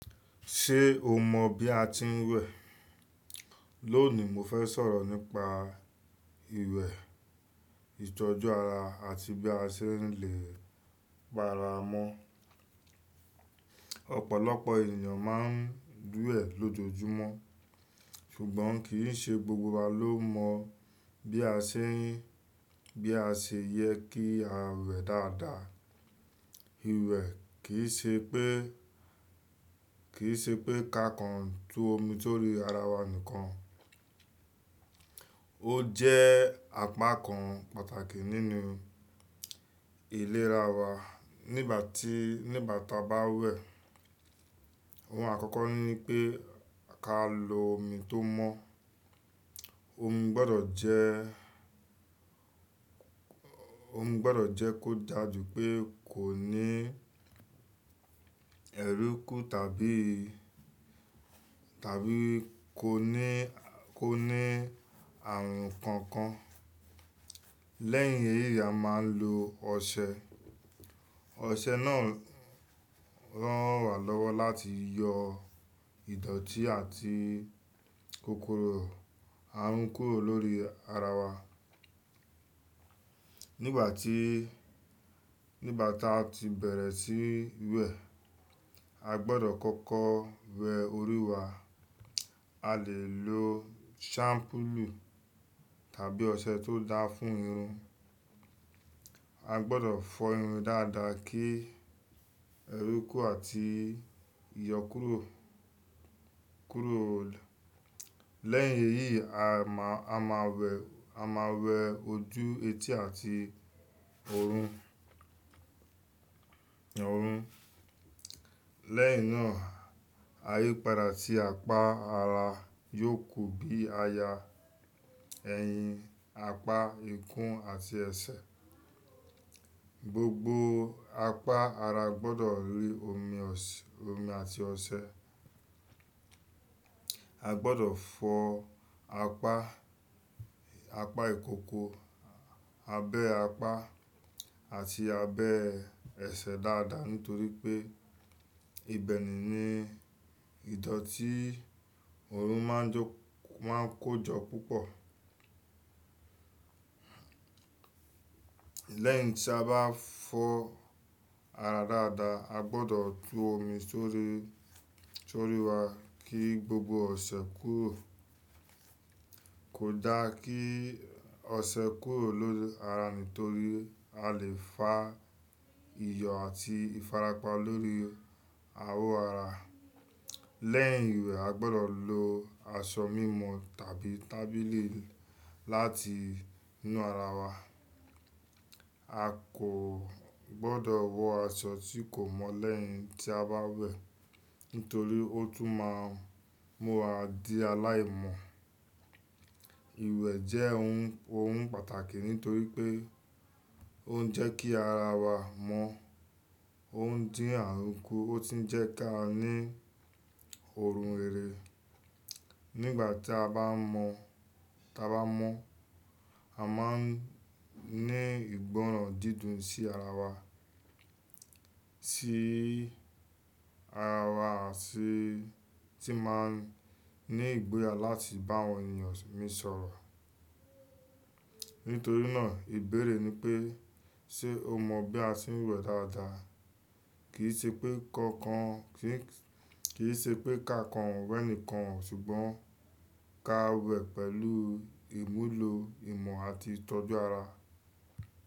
Ṣé o mọ bí a ti ń wẹ̀? Lónìí, mo fẹ́ sọ̀rọ̀ nípa iwẹ́, ìtọ́jú ara àti bí a ṣe lè pa ara mọ́. Ọ̀pọ̀lọpọ̀ ènìyàn máa ń wẹ̀ lójoojúmọ́, ṣùgbọ́n kì í ṣe gbogbo wa ló mọ bí a ṣe yẹ kí a wẹ̀ dáadáa. Iwẹ́ kì í ṣe pé ká kan tú omi sórí ara wa nìkan; ó jẹ́ apá kan pàtàkì nínú ìlera wa. Nígbà tí a bá wẹ̀, ohun àkọ́kọ́ ni pé ká lo omi tó mọ́. Omi gbọdọ̀ jẹ́ kó dà jù pé kò ní ẹrúkú tàbí kò ní àrùn kankan. Lẹ́yìn èyí, a máa ń lo ọṣẹ. Ọṣẹ náà rán wa lọ́wọ́ láti yọ ìdọ̀tí àti kókóró àrun kúrò lórí ara wa. Nígbà tí a ti bẹ̀rẹ̀ sí wẹ̀, a gbọdọ̀ kọ́kọ́ wẹ orí wa. A lè lo ṣampúlu tàbí ọṣẹ tó dáa fún irun. A gbọdọ̀ fọ irun dáadáa kí ẹrúkú àti ìyọ kúrò. Lẹ́yìn èyí, a máa wẹ ojú, etí àti ọrùn. Lẹ́yìn náà, ayípadà sí apá ara yóò ku bíi aya, ẹ̀yìn, apá ìkún àti ẹsẹ̀. Gbogbo apá ara gbọdọ̀ rí omi àti ọṣẹ. A gbọdọ̀ fọ apá ìkókó, abẹ́ apá àti abẹ́ ẹsẹ̀ dáadáa nítorí pé ibẹ̀ ni ìdọ̀tí ọrùn máa ń kó jọ púpọ̀. Lẹ́yìn tí a bá fọ ara dáadáa, a gbọdọ̀ tú omi sórí wa kí gbogbo ọṣẹ kúrò. Kò dáa kí ọṣẹ kúrò lórí ara nítorí a lè fa iyọ̀ àti ìfarapa lórí awọ ara. Lẹ́yìn iwẹ́, a gbọdọ̀ lo aṣọ mímọ̀ tàbí tábíli láti nu ara wa. A kò gbọdọ̀ wọ aṣọ tí kò mọ́ lẹ́yìn tí a bá wẹ̀ nítorí ó tún máa mú wa di aláìmọ́. Iwẹ́ jẹ́ ohun pàtàkì nítorí pé ó ń jẹ́ kí ara wa mọ́, ó ń dín àrùn kú, ó sì ń jẹ́ ká ní ọrùn rere. Nígbà tí a bá mọ́, a máa ń ní ìgbọ́ràn dídùn sí ara wa àti tí máa ń ní ìgboyà láti bá àwọn ènìyàn mí sọ̀rọ̀. Nítorí náà, ìbéèrè ni pé, ṣe o mọ bí a ṣe ń wẹ̀ dáadáa? Kì í ṣe pé ká kan wẹ̀ nìkan, ṣùgbọ́n ká wẹ̀ pẹ̀lú ìmúlò ìmọ̀ àti ìtọ́jú ara.